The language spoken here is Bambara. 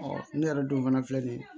ne yɛrɛ dun fana filɛ nin ye